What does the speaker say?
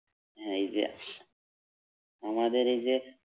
হ্যাঁ এই যে আমাদের এই যে